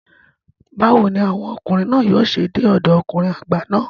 Báwo ni àwọn ọkùnrin náà yóò ṣe dé ọ̀dọ ọkùnrin àgbà náà?